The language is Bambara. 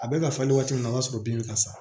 A bɛ ka falen waati min na o y'a sɔrɔ bin bɛ ka sa